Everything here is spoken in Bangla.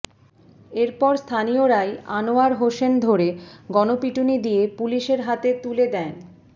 এরপর স্থানীয়রাই আনোয়ার হোসেন ধরে গণপিটুনি দিয়ে পুলিশের হাতে তুলে দেয়ন